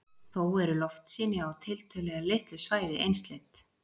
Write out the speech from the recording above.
Þó eru loftsýni á tiltölulega litlu svæði einsleit.